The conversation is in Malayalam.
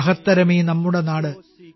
മഹത്തരമീ നമ്മുടെ നാട്